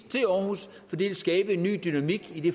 til aarhus fordi det ville skabe en ny dynamik i det